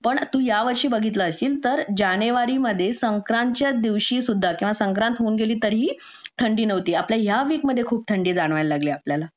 पण तू यावर्षी बघितला असशील तर जानेवारीमध्ये संक्रांतीच्या दिवशी सुद्धा संक्रांत होऊन गेली तरी ही थंडी नव्हती आता या वीक मध्ये खूप थंडी जाणवायला लागली आपल्याला